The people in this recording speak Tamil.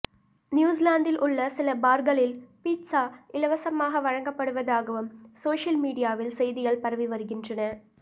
நியூசிலாந்தில் உள்ள சில பார்களில் பீட்சா இலவசமாக வழங்கப்படுவதாகவும் சோஷியல் மீடியாவில் செய்திகள் பரவி வருகின்றன